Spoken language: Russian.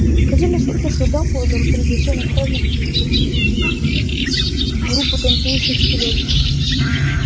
ходили слухи что дамблдор пригласил на праздник группу танцующих скелетов